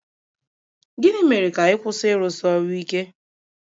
Gịnị mere ka ị kwụsị ịrụsi ọrụ ike?